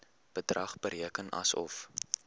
bedrag bereken asof